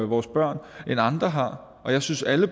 vores børn end andre har og jeg synes at